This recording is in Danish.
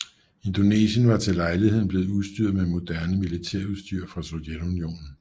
Indonesien var til lejligheden blevet udstyret med moderne militærudstyr fra Sovjetunionen